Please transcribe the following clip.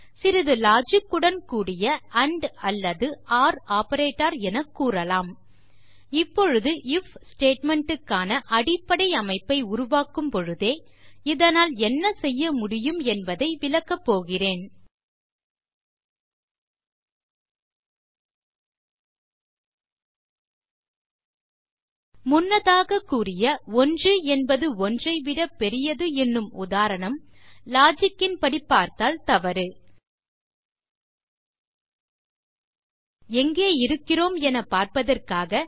சிறிது logicஉடன் கூடிய ஆண்ட் அல்லது ஒர் ஆப்பரேட்டர் எனக் கூறலாம் இப்பொழுது ஐஎஃப் statementக்கான அடிப்படை அமைப்பை உருவாக்கும் பொழுதே இதனால் என்ன செய்ய முடியும் என்பதை விளக்கப் போகிறேன் முன்னதாகக் கூறிய 1என்பது 1ஐ விட பெரியது எனும் உதாரணம் logicன் படி பார்த்தால் தவறு எங்கே இருக்கிறோம் என பார்ப்பதற்காக